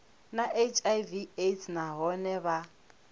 na hiv aids nahone vha